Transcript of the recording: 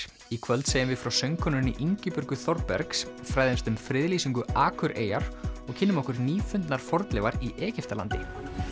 í kvöld segjum við frá söngkonunni Ingibjörgu Þorbergs fræðumst um friðlýsingu Akureyjar og kynnum okkur fornleifar í Egyptalandi